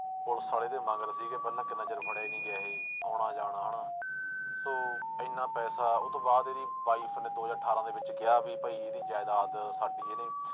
police ਵਾਲੇ ਇਹਦੇ ਮਗਰ ਸੀਗੇ ਪਹਿਲਾਂ ਕਿੰਨਾ ਚਿਰ ਫੜਿਆ ਹੀ ਨੀ ਗਿਆ ਇਹ ਆਉਣਾ ਜਾਣਾ ਹਨਾ, ਸੋ ਇੰਨਾ ਪੈਸਾ ਉਹ ਤੋਂ ਬਾਅਦ ਇਹਦੀ wife ਨੇ ਦੋ ਹਜ਼ਾਰ ਅਠਾਰਾਂ ਦੇ ਵਿੱਚ ਕਿਹਾ ਵੀ ਭਾਈ ਇਹਦੀ ਜ਼ਾਇਦਾਦ ਸਾਡੀ ਇਹਨੇ